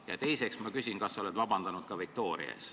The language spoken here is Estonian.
Ja teiseks küsin ma seda, kas sa oled vabandanud ka Viktoria ees.